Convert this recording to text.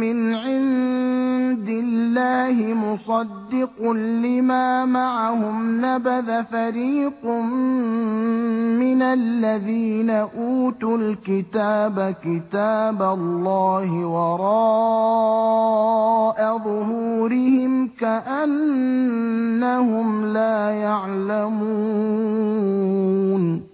مِّنْ عِندِ اللَّهِ مُصَدِّقٌ لِّمَا مَعَهُمْ نَبَذَ فَرِيقٌ مِّنَ الَّذِينَ أُوتُوا الْكِتَابَ كِتَابَ اللَّهِ وَرَاءَ ظُهُورِهِمْ كَأَنَّهُمْ لَا يَعْلَمُونَ